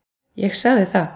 Ég sagði það.